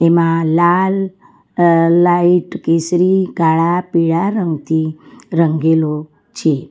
માં લાલ અ લાઈટ કેસરી કાળા પીળા રંગથી રંગેલો છે.